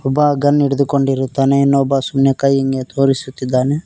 ಬಾ ಗನ್ ಹಿಡಿದುಕೊಂಡಿರುತ್ತಾನೆ ಇನ್ನೊಬ್ಬ ಸುಮ್ನೆ ಕೈ ಹಿಂಗೇ ತೋರಿಸುತ್ತಿದ್ದಾನೆ.